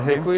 Děkuji.